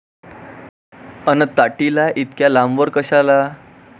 अन ताटीला इतक्या लांबवर कशाला?